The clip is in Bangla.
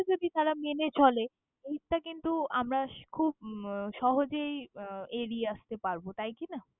যদি তারা মেনে চলে। ওইটা কিন্তু আমরা খুব সহজেই এড়িয়ে আস্তে পারবো, তাই কিনা!